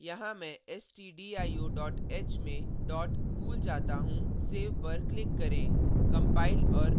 मान लें यहाँ मैं stdio h में dot भूल जाता हूँ सेव पर click करें